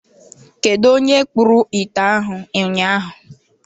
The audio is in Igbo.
Kedụ onye kpụrụ ite ahụ ụnyaahụ.